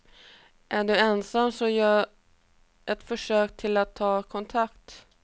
Är du ensam, så gör ett försök till att ta kontakt.